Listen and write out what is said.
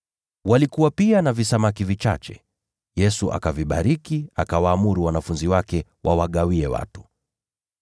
Walikuwa pia na visamaki vichache, Yesu akavibariki, akawaamuru wanafunzi wake wawagawie watu.